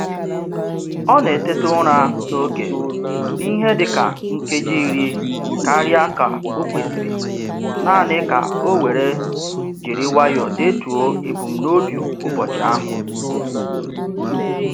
Ọ na-eteta ụra n'oge n'ihe dịka nkeji iri karịa ka o kwesịrị naanị ka o were jiri nwayọ detuo ebumnobi ụbọchị ahụ.